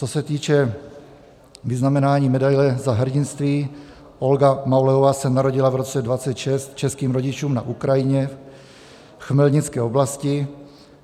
Co se týče vyznamenání Medaile Za hrdinství, Olga Mauleová se narodila v roce 1926 českým rodičům na Ukrajině v Chmelnické oblasti.